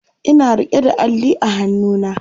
Ina rike da Alli a hannuna